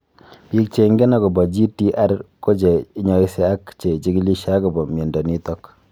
Piik che ingine akopo GTR ko che inyaise ak che chig�lishe akopo miondo nitok